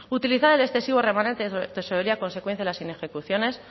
utilizar el excesivo remanente de tesorería consecuencia de las inejecuciones